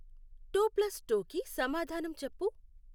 Two plus టూకి సమాధానం చెప్పు.